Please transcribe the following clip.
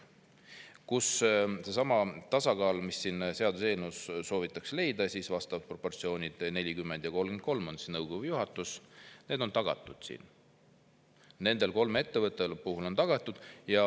Nendes kolmes ettevõttes on seesama tasakaal, mida selle seaduseelnõuga soovitakse – vastavalt siis proportsioonid 40% ja 33% on nõukogus ja juhatuses –, juba tagatud.